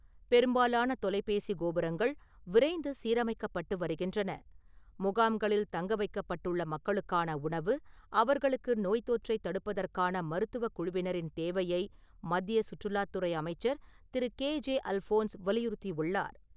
பெரும்பாலான தொலைப்பேசி கோபுரங்கள் விரைந்து சீரமைக்கப்பட்டு வருகின்றன. முகாம்களில் தங்கவைக்கப்பட்டுள்ள மக்களுக்கான உணவு, அவர்களுக்கு நோய்தொற்றை தடுப்பதற்கான மருத்துவக்குழுவினரின் தேவையை மத்திய சுற்றுலாத்துறை அமைச்சர் திரு.கே.ஜே. அல்ஃபோன்ஸ் வலியுறுத்தியுள்ளார்.